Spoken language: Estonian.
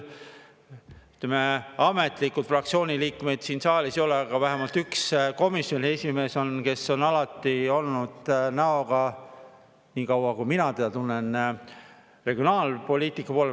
Ametlikult fraktsiooni liikmeid siin saalis ei ole, aga vähemalt üks komisjoni esimees on, kes on alati olnud, nii kaua kui mina teda tunnen, näoga regionaalpoliitika poole.